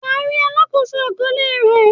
Wà á rí “ alákòóso àkọọ́lẹ̀” rẹ.